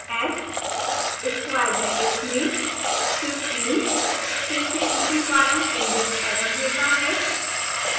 s square brackets में 15 फिर से उसी कारण indexerror देता है